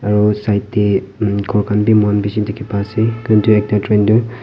aro side de room ghor khan bi eman bishi dikhibo pa ase kun toh ekta train toh.